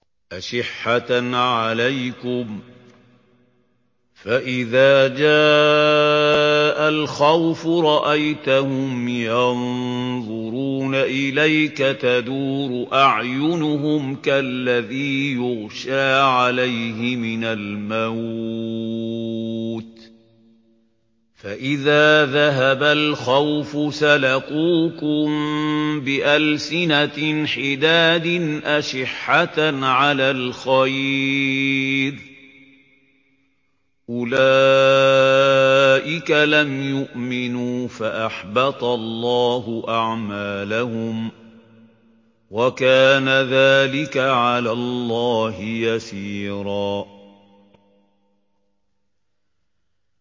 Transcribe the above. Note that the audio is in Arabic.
أَشِحَّةً عَلَيْكُمْ ۖ فَإِذَا جَاءَ الْخَوْفُ رَأَيْتَهُمْ يَنظُرُونَ إِلَيْكَ تَدُورُ أَعْيُنُهُمْ كَالَّذِي يُغْشَىٰ عَلَيْهِ مِنَ الْمَوْتِ ۖ فَإِذَا ذَهَبَ الْخَوْفُ سَلَقُوكُم بِأَلْسِنَةٍ حِدَادٍ أَشِحَّةً عَلَى الْخَيْرِ ۚ أُولَٰئِكَ لَمْ يُؤْمِنُوا فَأَحْبَطَ اللَّهُ أَعْمَالَهُمْ ۚ وَكَانَ ذَٰلِكَ عَلَى اللَّهِ يَسِيرًا